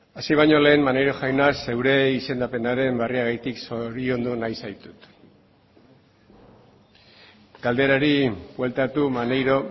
hasi baino lehen maneiro jauna zeure izendapenaren berriagatik zoriondu nahi zaitut galderari bueltatu maneiro